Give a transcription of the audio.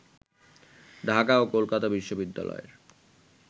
ঢাকা ও কলকাতা বিশ্ববিদ্যালয়ের